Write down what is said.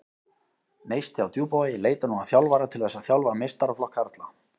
Neisti á Djúpavogi leitar nú að þjálfara til þess að þjálfa meistaraflokk karla.